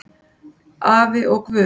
Afi og Guð!